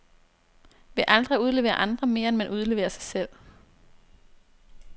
Ved aldrig at udlevere andre, mere end man udleverer sig selv.